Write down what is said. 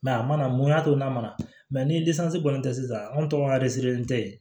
a mana mun y'a to n'a nana ni kɔni tɛ sisan an tɔgɔ ye